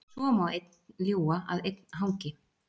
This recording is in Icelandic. Svo má einn ljúga að einn hangi.